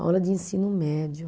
Aula de ensino médio.